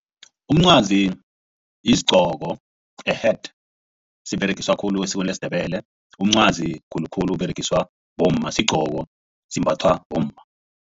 Umncwazi yisigqoko a-hat siberegiswa khulu esikweni lesiNdebele. Umncwazi khulukhulu uberegiswa bomma sigqoko simbathwa bomma.